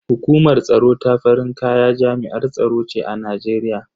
Hukumar tsaro ta farin kaya jami'ar tsaro ce a Najeriya.